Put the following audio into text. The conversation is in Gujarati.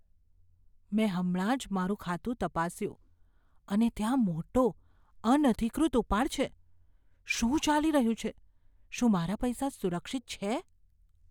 મેં હમણાં જ મારું ખાતું તપાસ્યું અને ત્યાં મોટો, અનધિકૃત ઉપાડ છે. શું ચાલી રહ્યું છે? શું મારા પૈસા સુરક્ષિત છે?